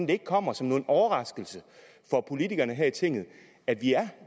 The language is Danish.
det ikke kommer som en overraskelse for politikerne her i tinget at vi har